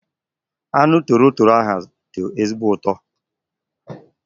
Anụ toro toro ahu dị ezigbo ụtọ